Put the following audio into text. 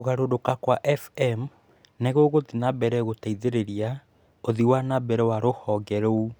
Kũgarũrũka kwa FM nĩ gũgũthiĩ na mbere gũteithĩrĩria ũthii wa na mbere wa rũhonge rũu.